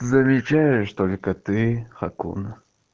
замечаешь только ты хакуна